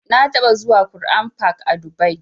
Na taɓa zuwa Qur'an fak a dubai